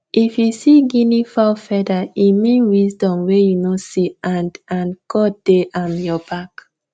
if you see guinea fowl feather e mean wisdom wey you no see and and god dey um your back